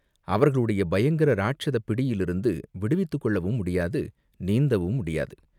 அவர்களுடைய பயங்கர ராட்சதப் பிடியிலிருந்து விடுவித்துக்கொள்ளவும் முடியாது, நீந்தவும் முடியாது.